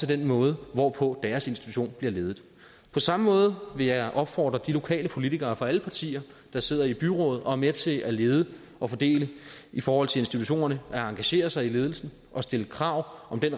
den måde hvorpå deres institution bliver ledet på samme måde vil jeg opfordre de lokale politikere fra alle partier der sidder i byrådet og er med til at lede og fordele i forhold til institutionerne at engagere sig i ledelsen og stille krav om den